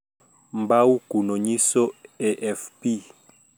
Mbau kuno onyiso AFP